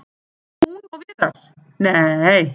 Hún og Viðar- nei!